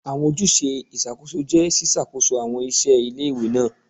Awọn ojuse iṣakoso jẹ ṣiṣakoso awọn iṣẹ ile-iwe naa